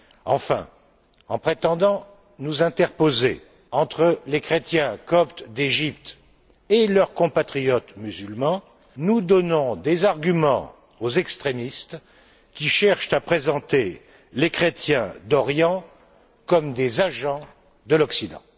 Enfin, en prétendant nous interposer entre les chrétiens coptes d'Égypte et leurs compatriotes musulmans, nous donnons des arguments aux extrémistes, qui cherchent à présenter les chrétiens d'Orient comme des agents de l'Occident.